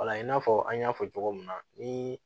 Wala i n'a fɔ an y'a fɔ cogo min na ni